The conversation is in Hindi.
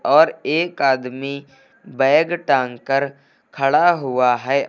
और एक आदमी बैग टांग कर खड़ा हुआ है।